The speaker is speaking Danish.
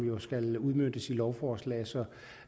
skal udmøntes i lovforslag så